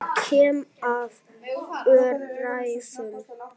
Ég kem af öræfum.